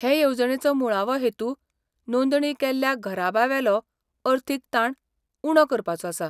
हे येवजणेचो मुळावो हेतू नोंदणी केल्ल्या घराब्यांवेलो अर्थीक ताण उणो करपाचो आसा.